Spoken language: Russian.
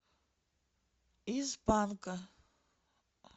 из панка